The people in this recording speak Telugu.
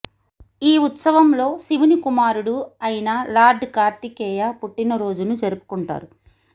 ఈ ఉత్సవంలో శివుని కుమారుడు అయిన లార్డ్ కార్తికేయ పుట్టిన రోజును జరుపుకొంటారు